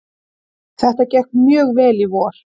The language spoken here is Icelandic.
Það gekk mjög vel í vor.